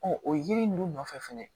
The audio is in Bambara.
o yiri ninnu nɔfɛ fɛnɛ